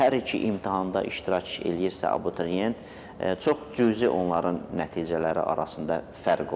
Hər iki imtahanda iştirak eləyirsə abituriyent, çox cüzi onların nəticələri arasında fərq olur.